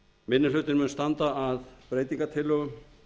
minni hlutinn mun standa að breytingartillögum